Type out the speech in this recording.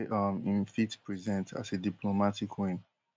um im fit present as a diplomatic win